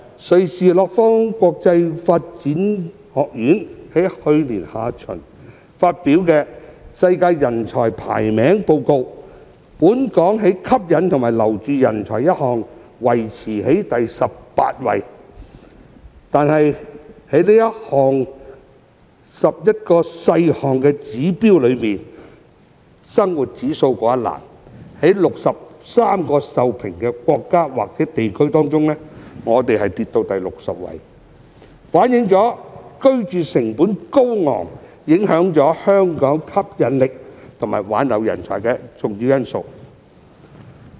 瑞士洛桑國際管理發展學院在去年下旬發表《世界人才排名報告》，本港在"吸引和留住人才"維持在第十八位，但在11個細項指標中的"生活費用指數"，則跌至63個受評國家或地區中的第六十位，反映居住成本高昂是影響香港吸引力和挽留人才的重要因素。